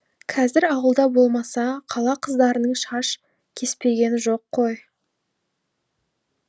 қазір ауылда болмаса қала қыздарының шаш кеспегені жоқ қой